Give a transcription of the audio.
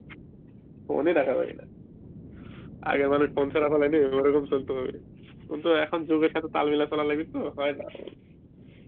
চলতে হবে, কিন্তু এখন যুগের সথে তাল মিলা করা লাগে কি তো হয় না